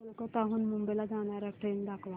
कोलकाता हून मुंबई ला जाणार्या ट्रेन दाखवा